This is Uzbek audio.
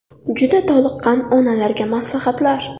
Juda toliqqan onalarga maslahatlar.